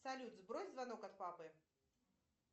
салют сбрось звонок от папы